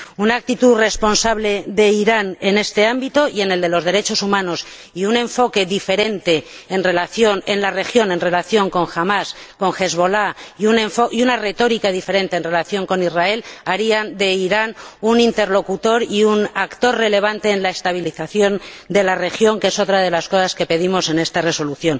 Una actitud responsable de Irán en este ámbito y en el de los derechos humanos, un enfoque diferente en la región en relación con Hamás y Hezbolá, y una retórica diferente en relación con Israel harían de Irán un interlocutor y un actor relevante en la estabilización de la región, que es otra de las cosas que pedimos en este informe.